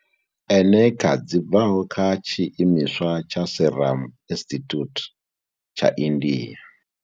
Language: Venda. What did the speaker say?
Eneca dzi bvaho kha tshiimiswa tsha Serum Institute tsha India.